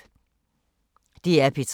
DR P3